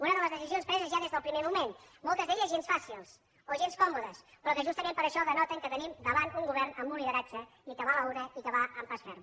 una de les decisions preses ja des del primer moment moltes d’elles gens fàcils o gens còmodes però que justament per això denoten que tenim davant un govern amb un lideratge i que va a la una i que va amb pas ferm